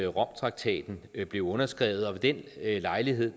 romtraktaten blev underskrevet og ved den lejlighed